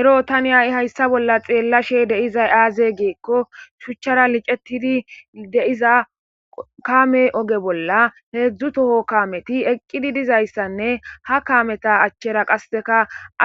Erro hayi tani hayisa bolla xelashe dizayi aze giko shuchara liccetidi diya kame oge bolla hedzu toho kameti eqidi dizayianne ha kameta achara